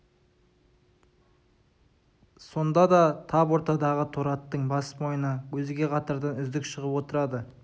сонда да тап ортадағы торы аттың бас мойыны өзге қатардан үздік шығып отырады